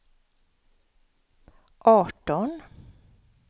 arton